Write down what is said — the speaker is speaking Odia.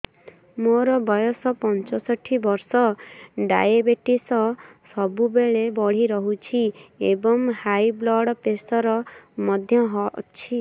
ମୋର ବୟସ ପଞ୍ଚଷଠି ବର୍ଷ ଡାଏବେଟିସ ସବୁବେଳେ ବଢି ରହୁଛି ଏବଂ ହାଇ ବ୍ଲଡ଼ ପ୍ରେସର ମଧ୍ୟ ଅଛି